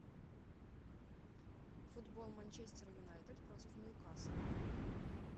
футбол манчестер юнайтед против ньюкасла